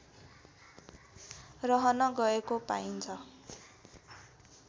रहन गएको पाइन्छ